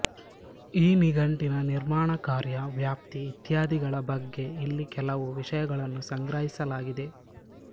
ಈ ನಿಘಂಟಿನ ನಿರ್ಮಾಣಕಾರ್ಯ ವ್ಯಾಪ್ತಿ ಇತ್ಯಾದಿಗಳ ಬಗ್ಗೆ ಇಲ್ಲಿ ಕೆಲವು ವಿಷಯಗಳನ್ನು ಸಂಗ್ರಹಿಸಲಾಗಿದೆ